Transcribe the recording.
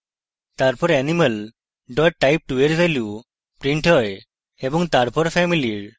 তারপর animal type2 এর value printed হয় এবং তারপর family এর